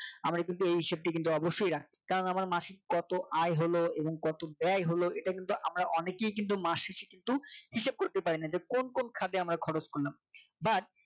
আমরা কিন্তু এই হিসেব টা কিন্তু অবশ্যই রাখতে কারন আমার মাসিক কত আয় হলো এবং কত ব্যয় হলো এটা কিন্তু আমরা অনেকেই কিন্তু মাসিক কিন্তু হিসেব করতে পারিনা যে কোন কোন খাতে আমরা খরচ করলাম but